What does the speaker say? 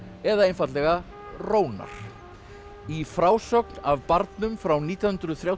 eða einfaldlega rónar í frásögn af barnum frá nítján hundruð þrjátíu